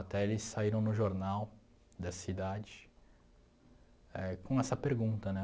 Até eles saíram no jornal da cidade éh com essa pergunta, né?